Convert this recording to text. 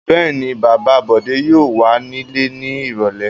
Bẹ́ẹ̀ ni, bàbá Bọ̀dé yóò wà nílé ní ìrọ́lẹ́.